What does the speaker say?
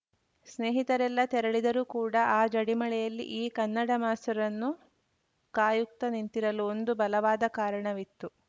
ಸ್ನೇಹಿತರೆಲ್ಲಾ ತೆರಳಿದರೂ ಕೂಡ ಆ ಜಡಿಮಳೆಯಲ್ಲಿ ಈ ಕನ್ನಡ ಮಾಸ್ತರನ್ನು ಕಾಯುತ್ತ ನಿಂತಿರಲು ಒಂದು ಬಲವಾದ ಕಾರಣವಿತ್ತು